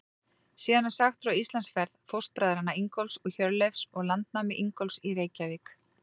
Síðan er sagt frá Íslandsferð fóstbræðranna Ingólfs og Hjörleifs og landnámi Ingólfs í Reykjavík.